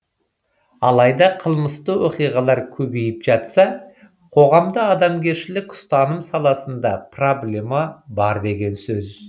алайда қылмысты оқиғалар көбейіп жатса қоғамда адамгершілік ұстаным саласында проблема бар деген сөз